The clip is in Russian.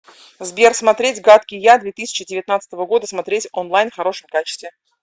сбер смотреть гадкий я две тысячи девятнадцатого года смотреть онлайн в хорошем качестве